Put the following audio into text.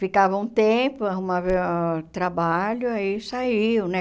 Ficava um tempo, arrumava trabalho, aí saiu, né?